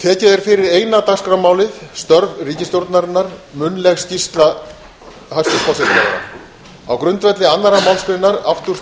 tekið er fyrir eina dagskrármálið störf ríkisstjórnarinnar munnleg skýrsla hæstvirts forsætisráðherra á grundvelli annarrar málsgreinar áttugustu og